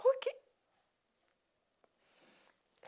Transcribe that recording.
Por quê?